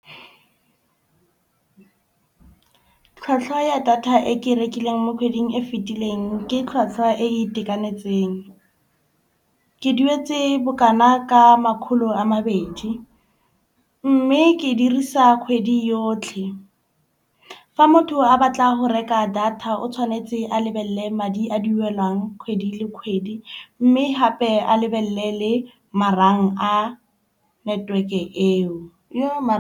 Tlhwatlhwa ya data e ke e rekileng mo kgweding e fetileng ke tlhwatlhwa e e itekanetseng. Ke duetse bokana ka makgolo a mabedi. Mme ke dirisa kgwedi yotlhe. Fa motho a batla go reka data o tshwanetse a lebelele madi a duelwang kgwedi le kgwedi. Mme hape a lebelele le marang a network-e eo .